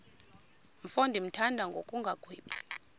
mfo ndimthanda ngokungagwebi